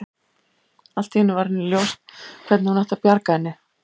Allt í einu varð henni ljóst hvernig hún ætti að bjarga henni.